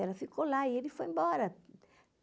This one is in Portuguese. Ela ficou lá e ele foi embora.